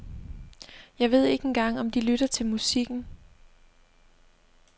Jeg ved ikke engang om de lytter til musikken.